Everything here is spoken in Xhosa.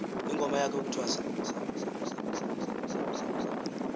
ingoma yakhe yokuthwasa